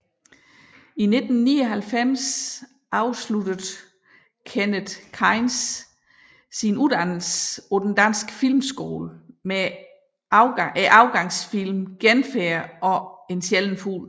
I 1999 afsluttede Kenneth Kainz sin uddannelse på Den Danske Filmskole med afgangsfilmene Genfærd og En sjælden fugl